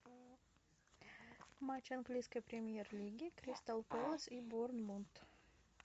матч английской премьер лиги кристал пэлас и борнмут